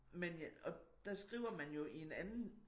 Men og der skriver man jo i en anden